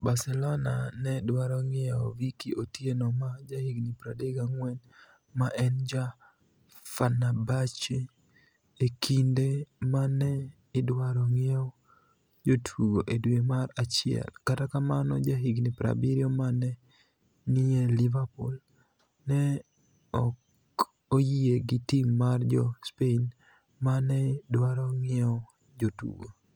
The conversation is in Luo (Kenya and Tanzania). (AS - via Mirror) Barcelonia ni e dwaro nig'iewo Vicky otieno ma jahiginii 34, ma eni ja Feni erbahce, e kinide ma ni e idwaro nig'iewo jotugo e dwe mar achiel, kata kamano, jahiginii 70 ma ni e niie Liverpool, ni e ok oyie gi tim mar jo Spaini ma ni e dwaro nig'iewo jotugo.